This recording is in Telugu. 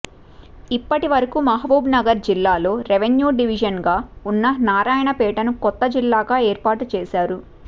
ఇప్పటి వరకు మహబూబ్నగర్ జిల్లాలో రెవెన్యూ డివిజన్గా ఉన్న నారాయణపేటను కొత్త జిల్లాగా ఏర్పాటు చేశారు